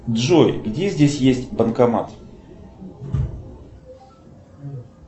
джой где здесь есть банкомат